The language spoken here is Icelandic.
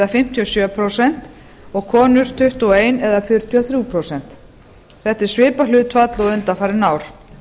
fimmtíu og sjö prósent og konur tuttugu og eitt eða fjörutíu og þrjú prósent þetta er svipað hlutfall og undanfarin ár